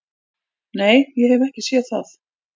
"""Nei, ég hef ekki séð það."""